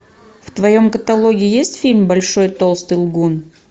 в твоем каталоге есть фильм большой толстый лгун